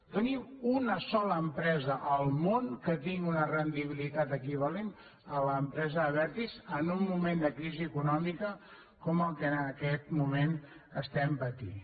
doni’m una sola empresa al món que tingui una rendibilitat equivalent a la de l’empresa abertis en un moment de crisi econòmica com el que en aquest moment estem patint